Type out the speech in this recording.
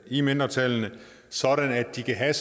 i mindretallene sådan at de kan have